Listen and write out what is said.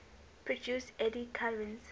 produce eddy currents